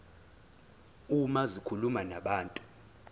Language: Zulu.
uma zikhuluma nabantu